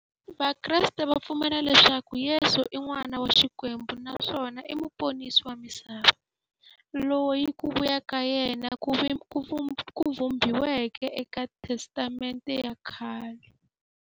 Vakreste va pfumela leswaku Yesu i n'wana wa Xikwembu naswona i muponisi wa misava, loyi ku vuya ka yena ku vhumbiweke e ka Testamente ya khale.